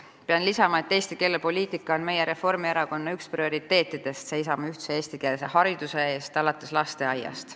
Pean lisama, et Eesti keelepoliitika on Reformierakonna üks prioriteetidest, seisame ühtse eestikeelse hariduse eest alates lasteaiast.